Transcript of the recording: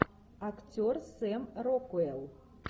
актер сэм рокуэлл